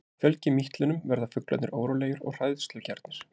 Fjölgi mítlunum verða fuglarnir órólegir og hræðslugjarnir.